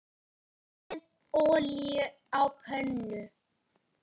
Hitið olíu á pönnu.